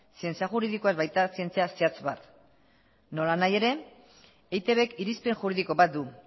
zientzia juridikoa ez baita zientzia zehatz bat nolanahi ere eitbk irizpen juridiko bat du